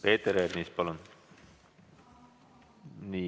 Peeter Ernits, palun!